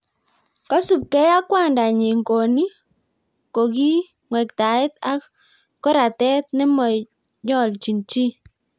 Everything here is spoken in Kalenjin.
Kosubkei ak kwandanyi koni kokingwektaet ak koratet nemoyolchin chi